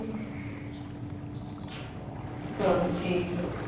ਚੱਲ ਠੀਕ ਹੈ।